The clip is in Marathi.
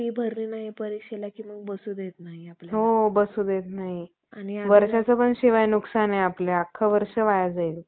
अन्यायी लोकांचा, कर बहाल करते. याला म्हणावे तरी काय?